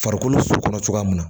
Farikolo so kɔnɔ cogoya min na